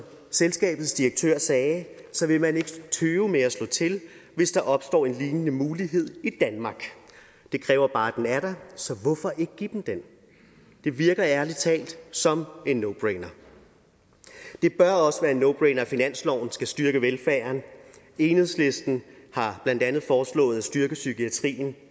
selskabets direktør sagde vil man ikke tøve med at slå til hvis der opstår en lignende mulighed i danmark det kræver bare at den er der så hvorfor ikke give dem den det virker ærlig talt som en no brainer det bør også være en no brainer at finansloven skal styrke velfærden enhedslisten har blandt andet foreslået at styrke psykiatrien